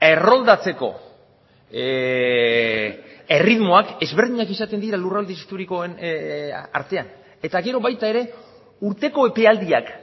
erroldatzeko erritmoak ezberdinak izaten dira lurralde historikoen artean eta gero baita ere urteko epealdiak